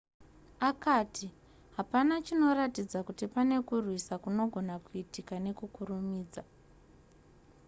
akati hapana chinoratidza kuti pane kurwisa kunogona kuitika nekukurumidza